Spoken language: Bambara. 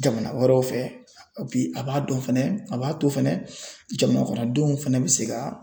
Jamana wɛrɛw fɛ bi a b'a dɔn fɛnɛ a b'a to fɛnɛ jamanakɔnɔdenw fɛnɛ bi se ka